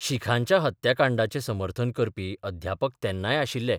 शिखांच्या हत्याकांडाचें समर्थन करपी अध्यापक तेन्नाय आशिल्ले.